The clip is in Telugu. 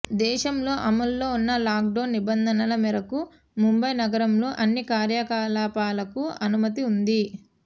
దేశంలో అమల్లో ఉన్న లాక్డౌన్ నిబంధనల మేరకు ముంబై నగరంలో అన్ని కార్యకలాపాలకు అనుమతి ఉంది